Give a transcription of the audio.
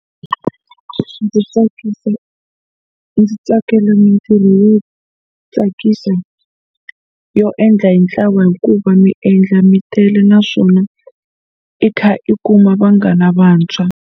Ndzi tsakisa ndzi tsakela mitirho yo tsakisa yo endla hi ntlawa hikuva mi endla mi tele naswona i kha i kuma vanghana vantshwa.